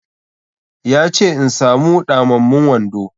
Ya ce in samu ɗamammun wando.